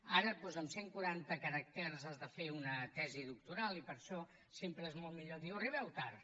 ara doncs amb cent quaranta caràcters has de fer una tesi doctoral i per això sempre és molt millor dir arribeu tard